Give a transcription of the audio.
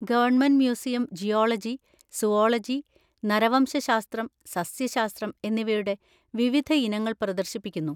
Government museum geology, zoology, നരവംശശാസ്ത്രം, സസ്യശാസ്ത്രം എന്നിവയുടെ വിവിധ ഇനങ്ങൾ പ്രദർശിപ്പിക്കുന്നു.